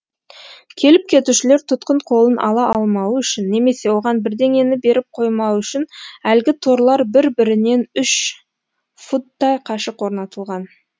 келіп кетушілер тұтқын қолын ала алмауы үшін немесе оған бірдеңені беріп қоймауы үшін әлгі торлар бір бірінен үш футтай қашық орнатылған